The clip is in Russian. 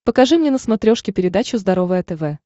покажи мне на смотрешке передачу здоровое тв